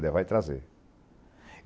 Levar e trazer.